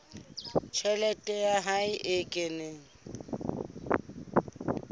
tjhelete ya hae e kenang